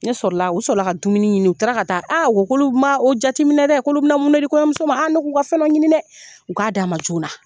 Ne sɔrɔ la, u sɔrɔla ka dumuni ɲini. U taara ka taa, o k'olu ma o jateminɛ dɛ! K'olu bɛna mun di kɔɲɔmuso ma. Ne k'u ka fɛnɛ dɔ ɲini dɛ! U k'a d'a ma joona.